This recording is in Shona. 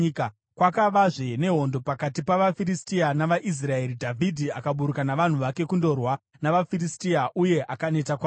Kwakavazve nehondo pakati pavaFiristia navaIsraeri. Dhavhidhi akaburuka navanhu vake kundorwa navaFiristia, uye akaneta kwazvo.